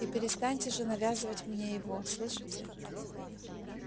и перестаньте же навязывать его мне слышите